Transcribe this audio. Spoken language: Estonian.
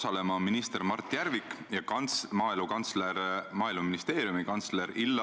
Oleme nende poliitikate üle siin Riigikogus väga palju ju tegelikult ka debateerinud.